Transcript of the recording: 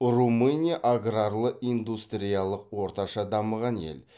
румыния аграрлы индустриялық орташа дамыған ел